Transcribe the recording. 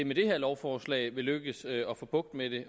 med det her lovforslag vil lykkes at få bugt med